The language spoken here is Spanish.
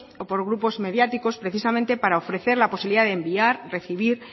por grupos mediáticos precisamente para ofrecer la posibilidad de enviar recibir